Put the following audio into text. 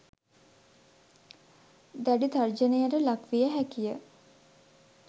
දැඩි තර්ජනයට ලක් විය හැකි ය.